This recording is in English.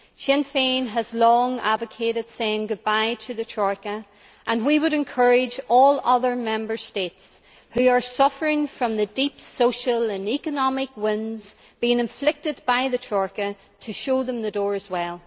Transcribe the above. Sinn Féin has long advocated saying goodbye to the Troika, and we would encourage all other Member States who are suffering from the deep social and economic winds being inflicted by the Troika to show it the door as well.